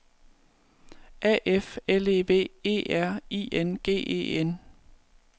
A F L E V E R I N G E N